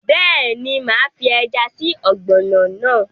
Bẹ́ẹ̀ni, máa fi ẹja sí ọ̀gbọ̀nọ̀ náà